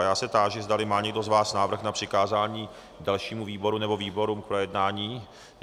A já se táži, zdali má někdo z vás návrh na přikázání dalšímu výboru nebo výborům k projednání.